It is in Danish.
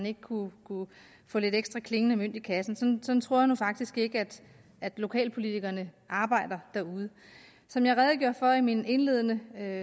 ikke kunne få lidt ekstra klingende mønt i kassen sådan tror jeg faktisk ikke at lokalpolitikerne arbejder derude som jeg redegjorde for i min indledende